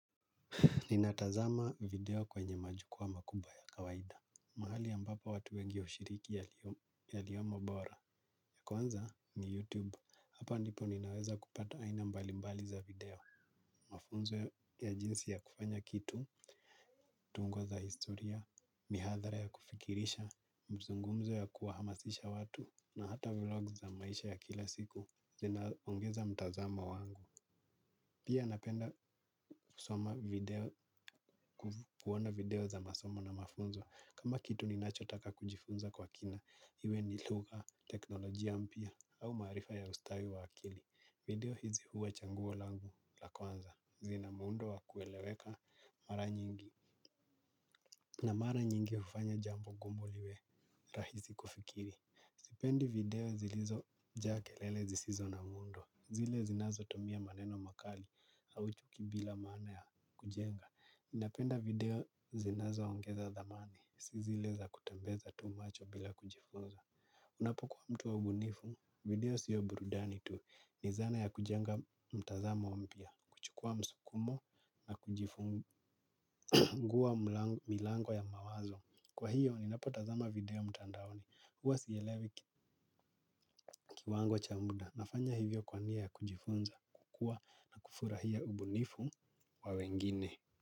Ninatazama video kwenye majukwaa makubwa ya kawaida. Mahali ambapo watu wengi hushiriki yaliyomo bora. Kwanza ni YouTube, hapa ndipo ninaweza kupata aina mbalimbali za video. Mafunzo ya jinsi ya kufanya kitu, tungo za historia, mihathara ya kufikirisha, mazungumzo ya kuhamasisha watu, na hata vlogs za maisha ya kila siku. Zinaongeza mtazama wangu. Pia napenda kusoma video, kuona video za masomo na mafunzo. Kama kitu ninachotaka kujifunza kwa kina, iwe ni lugha, teknolojia mpya au maarifa ya ustawi wa akili. Video hizi huwa chaguo langu la kwanza. Zina muundo wa kueleweka mara nyingi. Na mara nyingi hufanya jambo gumu liwe rahisi kufikiri. Sipendi video zilizojaa kelele zisizo na muundo. Zile zinazotumia maneno makali au chuki bila maana ya kujenga. Ninapenda video zinazoongeza dhamani. Si zile za kutembeza tu macho bila kujifunza. Unapokuwa mtu wa ubunifu. Video siyo burudani tu. Ni zana ya kujenga mtazamo mpya. Kuchukua msukumo na kujifungua milango ya mawazo. Kwa hiyo ninapotazama video mtandaoni huwa sielewi kiwango cha muda, nafanya hivyo kwa nia ya kujifunza, kukua na kufurahia ubunifu wa wengine.